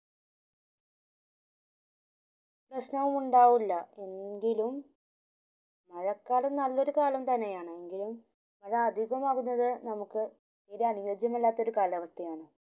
പ്രശനവും ഇണ്ടാവുല്ല എങ്കിലും മഴ കള്ളം നല്ലൊരു കാലം തന്നെയാണ് എങ്കിലും അത് അധികമാവുന്നത് നമ്മുക് തീരെ അന്യോമല്ലാത്ത ഒരു കാലാവസ്ഥയാണ്